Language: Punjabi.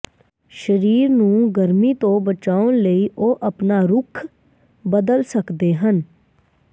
ਸਰੀਰ ਨੂੰ ਗਰਮੀ ਤੋਂ ਬਚਾਉਣ ਲਈ ਉਹ ਆਪਣਾ ਰੁੱਖ ਬਦਲ ਸਕਦੇ ਹਨ